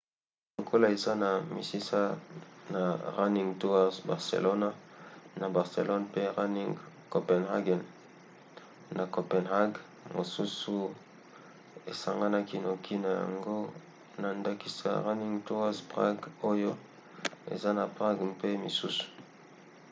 lokola eza na misisa na running tours barcelona na barcelone pe running copenhagen na copenhague mosusu esanganaki noki na yango na ndakisa running tours prague oyo eza na prague mpe misusu